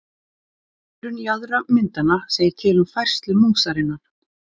Hliðrun jaðra myndanna segir til um færslu músarinnar.